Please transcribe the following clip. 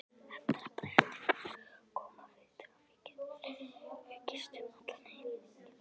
Eftir að Bretinn kom hafði traffíkin aukist um allan helming.